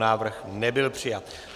Návrh nebyl přijat.